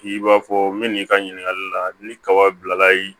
I b'a fɔ n bɛ n'i ka ɲininkali la ni kaba bilalayi